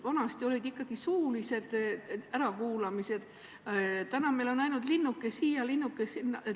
Vanasti olid ikkagi suulised ärakuulamised, nüüd on ainult linnuke siia, linnuke sinna.